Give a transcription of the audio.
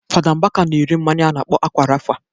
Fada Mbaka na-ere mmanya a na-akpọ Akwa Rafa